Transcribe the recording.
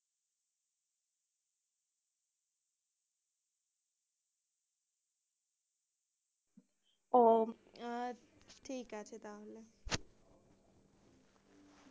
ও আচ্ছা, ঠিক আছে তাহলে।